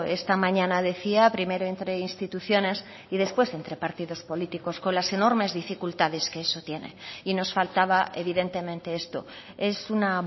esta mañana decía primero entre instituciones y después entre partidos políticos con las enormes dificultades que eso tiene y nos faltaba evidentemente esto es una